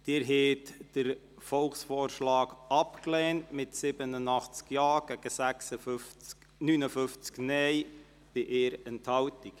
Sie haben den Volksvorschlag abgelehnt mit 87 Ja- gegen 59 Nein-Stimmen bei 1 Enthaltung.